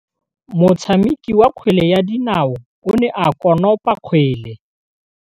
Motshameki wa kgwele ya dinaô o ne a konopa kgwele.